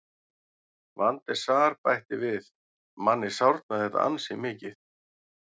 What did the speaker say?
Van der Sar bætti við: Manni sárnar þetta ansi mikið.